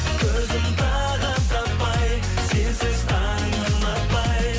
көзім тағыт таппай сенсіз таңып атпай